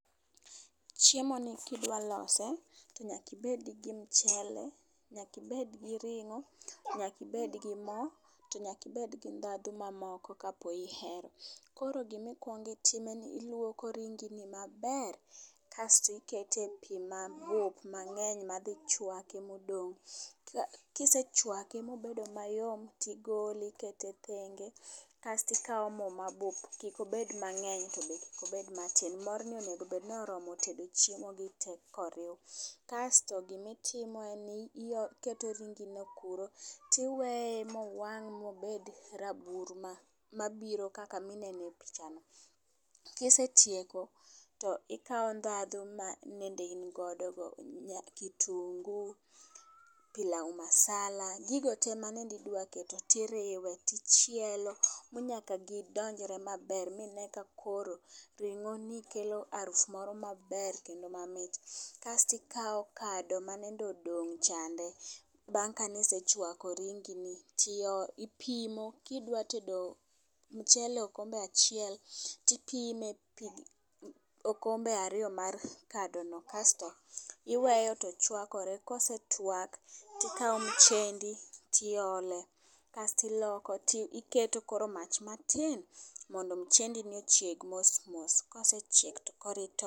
Chiemo ni kidwa lose tonyaki bed gi mchele, nyaki bed gi ring'o ,nyaki bed gi moo to nyaki bed gi ndhadhu mamoko kapo nihero. Koro gimikwong itimo en ni iluoko ringi maber kasti kete pii mabup mang'eny madhi chwake madong'. Kisechwake mobedo mayom tigole ikete tenge kasti kawo moo mabup kik obed mang'eny to be kik obed matin. Morno onego bed ni oromo tedo chiemo gi tee kowir. Kasto gimitimo en ni iketo ringi no kuro tiweye mowang' mobed rabuor ma mabiro kaka minene picha ni . Kisetieko tikawo ndhahu ma nende in go kitungu , pilau masala gigo te manende idwa keto tiriwe , tichielo manyaka gidonjre maber mine ka koro ring'o ni kelo arufu maber kedno mamit. Kae to ikawo kado manende odong chande bang' kanisechwako ringi ni ti tipimo. Kidwa tedo mchele okombe achiel tipime pii okombe ariyo mar kado no kasto iweyo to chwakore. Kosetwak tikawo mchendi tiole kasti loko ti iketo koro mach matin mondo mchendi ochieg mosmos kosechiek to koro itoke.